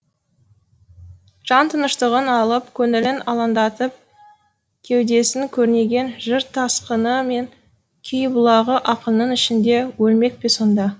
жан тыныштығын алып көңілін алаңдатып кеудесін көрнеген жыр тасқыны мен күй бұлағы ақынның ішінде өлмек пе сонда